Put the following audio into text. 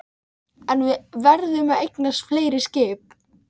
En við verðum að eignast fleiri skip